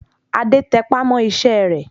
Adé tẹpá mọ́ iṣẹ́ rẹ̀